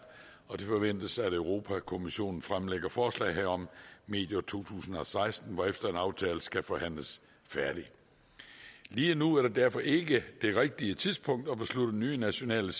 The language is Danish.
og det forventes at europa kommissionen fremlægger forslag herom medio to tusind og seksten hvorefter en aftale skal forhandles færdig lige nu er det derfor ikke det rigtige tidspunkt at beslutte nye nationale